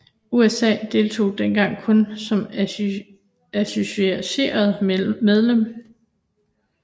USA deltog dengang kun som associeret medlem